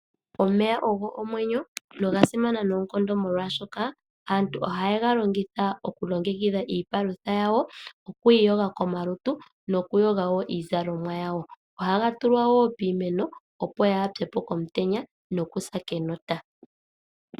Omeya ogo omwenyo noga simana noonkondo, molwaashoka aantu ohaye ga longitha oku longekidha iipalutha yawo, okwiiyoga komalutu nokuyoga woo iizalomwa yawo. Ohaga tulwa wo piimeno opo yaapye po komutenya nokusa kenota.